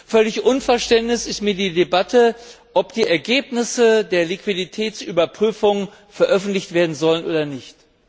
Völlig unverständlich ist mir die Debatte, ob die Ergebnisse der Liquiditätsüberprüfung veröffentlicht werden sollen oder nicht.